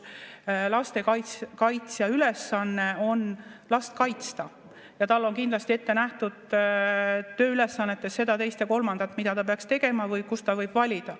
Lastekaitsja ülesanne on last kaitsta ja tal on kindlasti ette nähtud tööülesannetes seda, teist ja kolmandat, mida ta peaks tegema või kus ta võib valida.